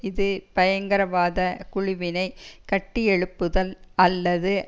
இது பயங்கரவாத குழுவினை கட்டியெழுப்புதல் அல்லது